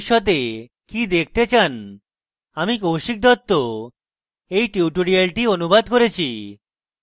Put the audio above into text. আমি কৌশিক দত্ত এই টিউটোরিয়ালটি অনুবাদ করেছি